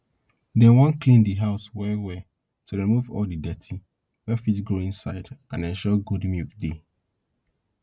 dem wan clean di house well well to remove all de dirty wey fit grow inside and ensure good milk dey